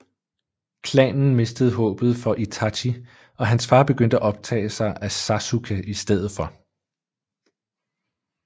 Klanen mistede håbet for Itachi og hans far begyndte at optage sig af Sasuke i stedet for